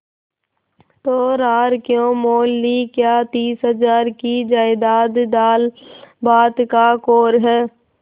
तो रार क्यों मोल ली क्या तीस हजार की जायदाद दालभात का कौर है